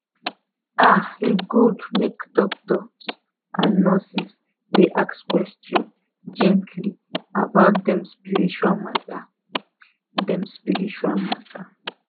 ah e good make doctors and nurses dey ask person gently about dem spiritual matter. dem spiritual matter.